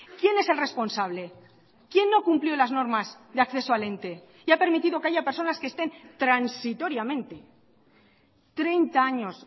quién es el responsable quién no cumplió las normas de acceso al ente y ha permitido que haya personas que estén transitoriamente treinta años